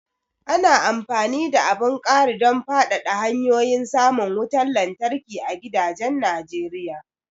Ana amfani da abun ƙaridon fadada hanyoyin samun wutar lantarki a gidajen Najeriya.